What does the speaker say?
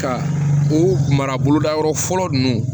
Ka u mara boloda yɔrɔ fɔlɔ ninnu